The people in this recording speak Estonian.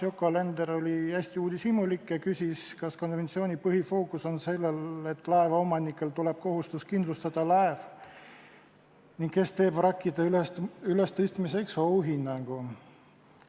Yoko Alender oli hästi uudishimulik ja küsis veel, kas konventsiooni põhifookus on sellel, et laevaomanikele hakkab kehtima kohustus laev kindlustada, ning kes teeb vrakkide ülestõstmise korral ohuhinnangu.